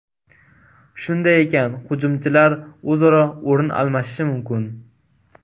Shunday ekan, hujumchilar o‘zaro o‘rin almashishi mumkin.